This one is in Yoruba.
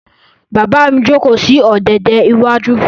Bàbá mi jókòó sí ọ̀dẹ̀dẹ̀ iwájú.